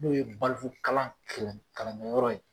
N'o ye balikukalan klan kalankɛyɔrɔ ye.